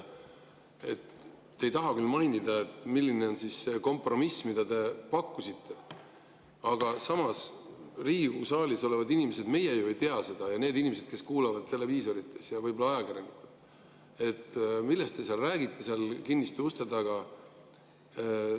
Te ei taha küll mainida, milline on see kompromiss, mida te pakkusite, aga samas Riigikogu saalis olevad inimesed ja need inimesed, kes vaatavad televiisorit, ja võib-olla ka ajakirjanikud ju ei tea seda, millest te räägite kinniste uste taga.